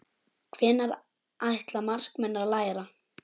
Hvenær ætla markmenn að læra?